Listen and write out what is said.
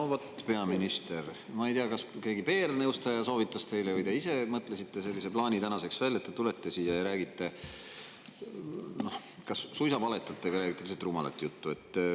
No vot, peaminister, ma ei tea, kas keegi PR-nõustaja soovitas teile seda või te ise mõtlesite sellise plaani tänaseks välja, et tulete siia ja kas suisa valetate või räägite lihtsalt rumalat juttu.